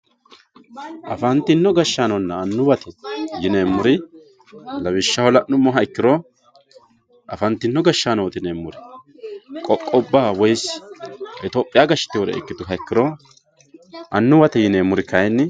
afantino gashshaanonna annuwate yineemmori afantino gashshaano qoqqobba woye gobba gashshitinore ikkituro annuwate yineemmori kayeenni